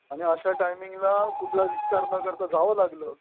आणि अशा टाईमिंगला कुठला विचार न करता जावं लागलं.